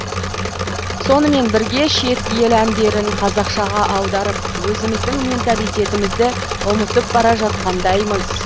сонымен бірге шет ел әндерін қазақшаға аударып өзіміздің менталитетімізді ұмытып бара жатқандаймыз